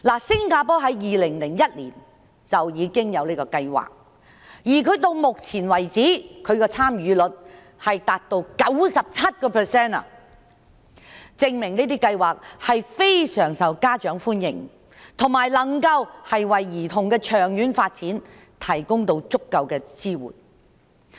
早在2001年，新加坡便已有類似的計劃，而到目前為止，參與率達到 97%， 證明計劃非常受家長歡迎，以及能夠為兒童的長遠發展提供足夠的支援。